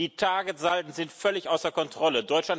Die Targetsalden sind völlig außer Kontrolle.